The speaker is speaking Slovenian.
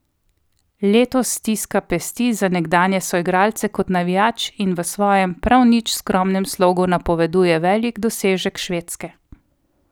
Letos stiska pesti za nekdanje soigralce kot navijač in v svojem, prav nič skromnem slogu napoveduje velik dosežek Švedske.